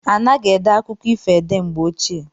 Anaghi ede akụkọ ifo ede mgbe ochie.